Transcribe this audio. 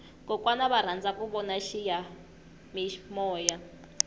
kokwana va rhandza ku vona xiyamimoya